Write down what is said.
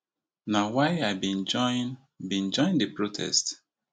na why i bin join bin join di protest